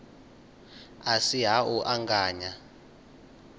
a si ha u anganya